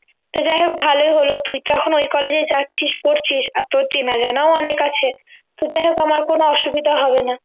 তো যাইহোক ভালোই হলো তুই তো এখন ওই college এ যাচ্ছিস পড়ছিস আর তোর চেনা জানাও অনেক আছে তো যাইহোক আমার কোন অসুবিধা হবে না